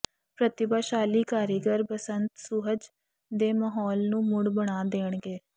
ਪ੍ਰਤਿਭਾਸ਼ਾਲੀ ਕਾਰੀਗਰ ਬਸੰਤ ਸੁਹਜ ਦੇ ਮਾਹੌਲ ਨੂੰ ਮੁੜ ਬਣਾ ਦੇਣਗੇ